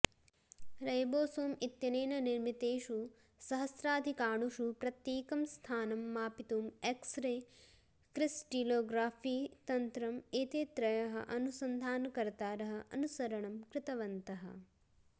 ribosome इत्यनेन निर्मितेषु सहस्राधिकाणुषु प्रत्येकं सथानं मापितुं एक्स्रे क्रिस्टिलोग्रफि तत्रम् एते त्रयः अनुसन्धानकर्तारः अनुसरणं कृतवन्तः